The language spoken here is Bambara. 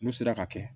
N'u sera ka kɛ